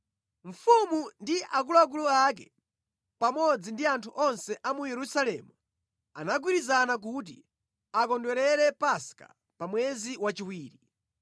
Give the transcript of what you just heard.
Mfumu ndi akuluakulu ake pamodzi ndi anthu onse a mu Yerusalemu anagwirizana kuti akondwerere Paska pa mwezi wachiwiri.